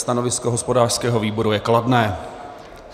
Stanovisko hospodářského výboru je kladné.